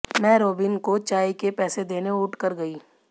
मै Robin को चाय के पैसे देने उठ कर गई